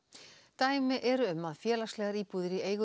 dæmi eru um að félagslegar íbúðir í eigu